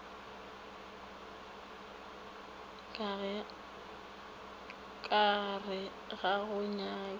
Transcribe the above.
ka re ga go nyakwe